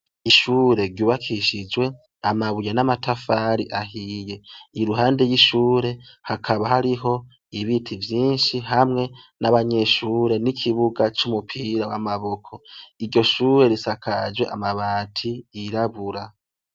Ishure ry'ubakishijwe amabuye namatafari ahiye, iruhande y'ishure hakaba hariho ibiti vyinshi hamwe nabanyeshure n'ikibuga c'umupira w'amaboko, iryo shure risakajwe amabati yirabura.